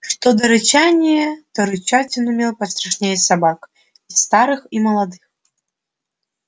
что до рычания то рычать он умел пострашнее собак и старых и молодых